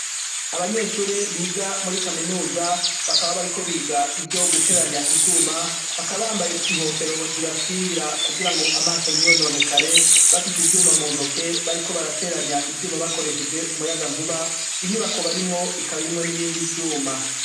Abanyeshure biga muri kaminuza bakaba bariko biga ivyo guteranya ivyuma bakaba bambaye inkofero zibakingira kugirango amaso ntiyononekare. Bafise ivyuma muntoke bariko barateranya ivyuma bakoresheje umuyagankuba. Inyubako barimwo ikab'irimwo n'ibindi vyuma.